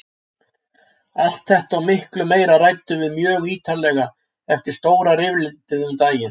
Allt þetta og miklu meira ræddum við mjög ítarlega eftir stóra rifrildið um daginn.